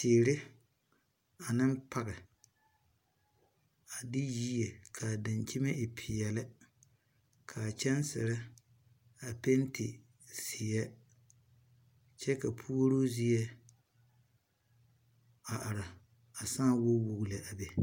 Tiire ane page a de yieɛ kaa dankyeme e pɛɛne kaa gyensire a pɛnte zie kyɛ ka pouro zie a are a saa wogwogle a be